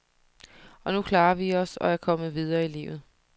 Og nu klarer vi os og er kommet videre i livet.